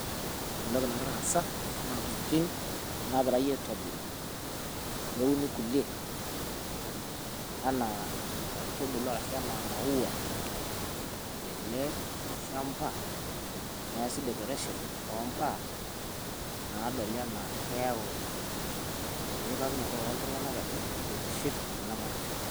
Ore entoki nagira aasa naa intokitin naagirai aitobiru, neuni kulie enaa inkaitubulu arashu enaa imaua tele shamba neesi decoration oombaa naadoli enaa keyau enyikakinoto oltung'anak edol, eitiship ina manyisho.